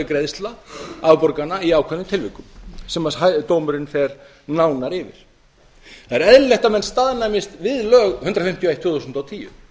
greiðsla afborgana í ákveðnum tilvikum sem dómurinn fer nánar yfir það er eðlilegt að menn staðnæmist við lög númer hundrað fimmtíu og eitt tvö þúsund og tíu